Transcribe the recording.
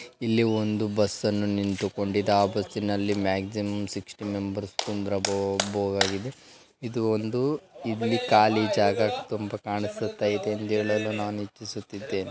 ಇಲ್ಲಿ ಒಂದು ಬಸ್ ಅನ್ನು ನಿಂತುಕೊಂಡಿಂದ ಆ ಬಸ್ಸಿನಲ್ಲಿ ಮ್ಯಾಕ್ಸಿಮಮ್ ಸಿಕ್ಸ್ಟಿ ಮೆಂಬರ್ಸ್ ಕುಂದ್ರ ಬೊ-ಬೊ-ಬೊದಾಗಿದೆ ಇದು ಒಂದು ಇಲ್ಲಿ ಖಾಲಿ ಜಾಗ ತುಂಬಾ ಕಾಣಿಸುತ್ತ ಇದೆ ಅಂದೇಳಲು ನಾನು ಇಚ್ಛಿಸುತ್ತಿದ್ದೇನೆ.